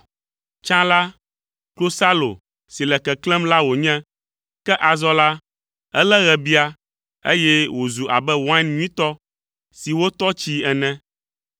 Tsã la, klosalo si le keklẽm la wònye, ke azɔ la, elé ɣebia eye wòzu abe wain nyuitɔ si wotɔ tsii ene.